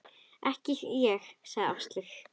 Ekki ég sagði Áslaug.